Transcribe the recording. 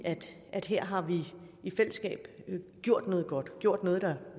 at her har vi i fællesskab gjort noget godt gjort noget der